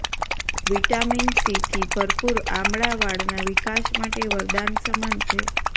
vitamin સીથી ભરપુર આમળા વાળના વિકાસ માટે વરદાન સમાન છે